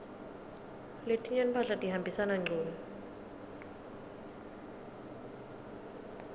letinye timphahla tihambisana ngcunu